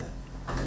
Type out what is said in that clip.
Bəli, bəli.